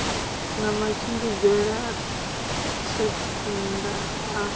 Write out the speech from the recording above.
na matshimbidzele a thenda a